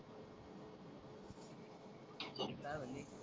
काय म्हणे